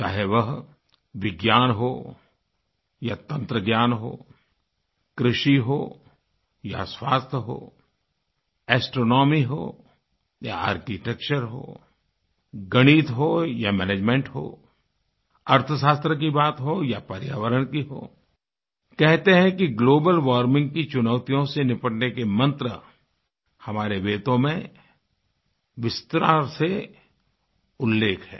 चाहे वह विज्ञान हो या तंत्रज्ञान हो कृषि हो या स्वास्थ्य हो एस्ट्रोनॉमी हो या आर्किटेक्चर होगणित हो या मैनेजमेंट हो अर्थशास्त्र की बात हो या पर्यावरण की हो कहते हैं कि ग्लोबल वार्मिंग की चुनौतियों से निपटने के मन्त्र हमारे वेदों में विस्तार से उल्लेख है